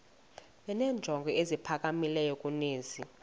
benenjongo eziphakamileyo kunezi